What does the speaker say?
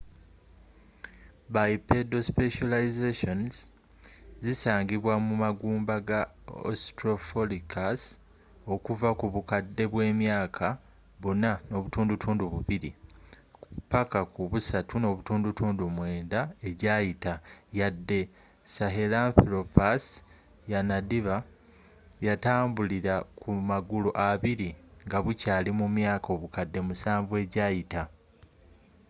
bipedal specializations zisangibwa mu magumba ga australopithecus okuva ku bukadde bw'emyaka 4.2-3.9 egyayita yadde sahelanthropusyanadiba yatambulira ku magulu abiri nga bukyaali mu myaka obukadde musanvu egyayiita